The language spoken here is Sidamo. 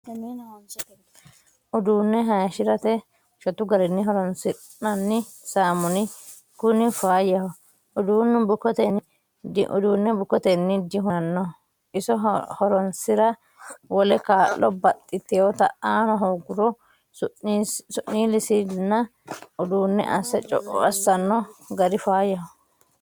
Uduune hayishirate shotu garinni horonsi'nanni saamuni kuni faayyaho uduunu bukkotenni dihunanoho iso horonsira wole kaa'lo baxxitewotta aano hooguro su'nilisinna uduune asse co'o assano gari faayyaho.